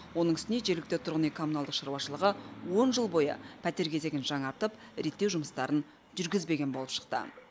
оның үстіне жергілікті тұрғын үй коммуналдық шаруашылығы он жыл бойы пәтер кезегін жаңартып реттеу жұмыстарын жүргізбеген болып шықты